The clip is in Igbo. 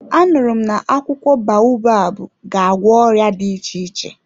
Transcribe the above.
A nụrụ m na akwụkwọ baobabu ga-agwọ ọrịa dị iche iche.